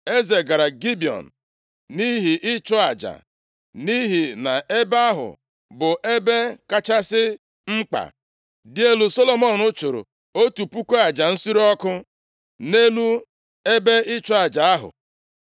Eze gara Gibiọn nʼihi ịchụ aja, nʼihi na ebe ahụ bụ ebe kachasị mkpa, dị elu. Solomọn chụrụ otu puku aja nsure ọkụ nʼelu ebe ịchụ aja ahụ.